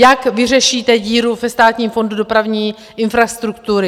Jak vyřešíte díru ve Státním fondu dopravní infrastruktury?